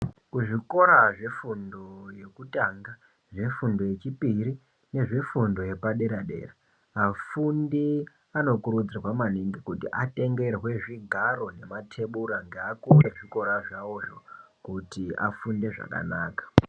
Kuzvikora zvefundo yekutanga nefundo yechipiri nefundo nezvepadera dera, afundi anokurudzirwa maningi kuti atengerwe zvigaro nematebura ngeaukuru ezvikora zvawozvo kuti afunde zvakanaka.